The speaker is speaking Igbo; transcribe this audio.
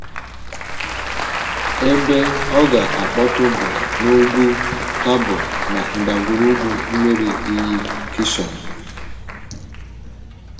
Ebe ọ̀ ga-akpọtụ̀ bụ n’Úgwù Tabor na ndàgwurùgwù mmiri iyi Kishọn.